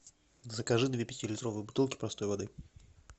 закажи две пятилитровые бутылки простой воды